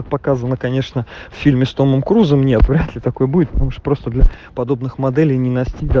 показано конечно фильмы с томом крузом нет вряд ли такой будет можешь просто для подобных моделей нина